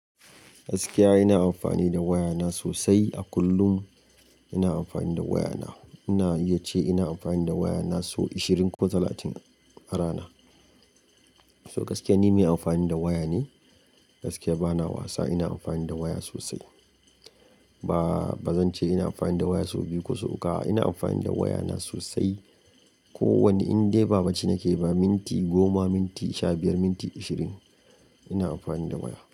Gaskiya ina amfani da waya na sosai. A kullum ina amfani da waya na. Ina iya ce ina amfani da waya na sau ishirin ko talatin a rana. So gaskiya ni mai amfani da waya ne. Gaskiya bana wasa ina amfani da waya sosai. Ba, bazan ce ina amfani da waya so biyu ko so uku a, ina amfani da waya na sosai. Ko wane inda ba bacci nake ba, minti goma, minti sha biyar, minti ishirin ina amfani da waya.